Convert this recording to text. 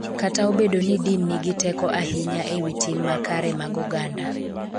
Kata obedo ni din nigi teko ahinya e wi tim makare mag oganda.